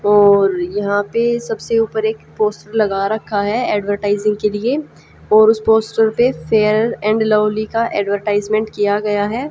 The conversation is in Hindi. और यहां पे सबसे ऊपर एक पोस्टर लगा रखा है एडवरटाइजिंग के लिए और उसे पोस्टर पे फेयर एंड लवली का एडवर्टाइजमेंट किया गया है।